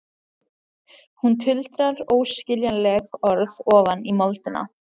Hún tuldrar óskiljanleg orð ofan í moldina.